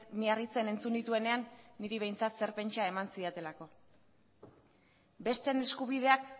miarritzen entzun nituenean niri behintzat zer pentsa eman zidatelako besteen eskubideak